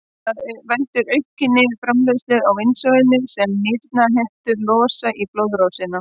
Það veldur aukinni framleiðslu á insúlíni sem nýrnahettur losa í blóðrásina.